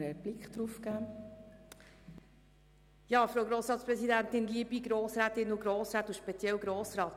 Vielen Dank für die Zustimmung zu diesem Antrag.